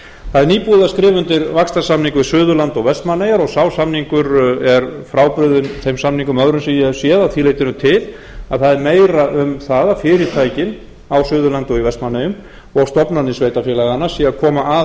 það er nýbúið að skrifa undir vaxtarsamning við suðurland og vestmannaeyjar og sá samningur er frábrugðinn þeim samningum öðrum sem ég hef séð að því leytinu til að það er meira um það að fyrirtækin á suðurlandi og í vestmannaeyjum og stofnanir sveitarfélaganna séu að koma að